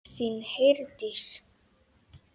Þín, Herdís.